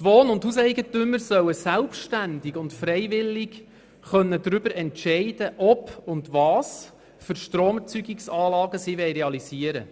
Die Wohn- und Hauseigentümer sollen selbstständig und freiwillig darüber entscheiden können, ob und welche Stromerzeugungsanlagen sie realisieren